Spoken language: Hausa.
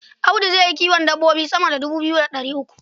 Audu zai yi kiwon dabbobi sama da dubu biyu da ɗari uku.